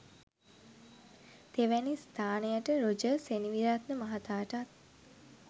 තෙවැනි ස්ථානයට රොජර් සෙනෙවිරත්න මහතාටත්